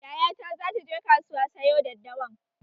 Yaya ta zata je kasuwa sayo daddawan